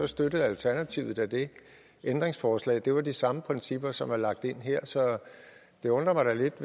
støttede alternativet da det ændringsforslag det var de samme principper som er lagt ind her så det undrer mig da lidt